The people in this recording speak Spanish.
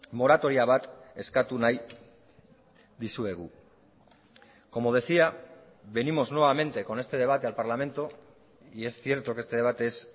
moratoria bat eskatu nahi dizuegu como decía venimos nuevamente con este debate al parlamento y es cierto que este debate es